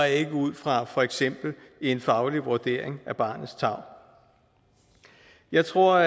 ikke ud fra for eksempel en faglig vurdering af barnets tarv jeg tror